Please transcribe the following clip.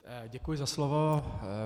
Děkuji za slovo.